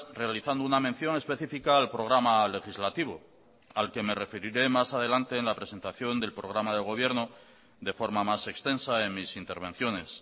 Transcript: realizando una mención específica al programa legislativo al que me referiré más adelante en la presentación del programa de gobierno de forma más extensa en mis intervenciones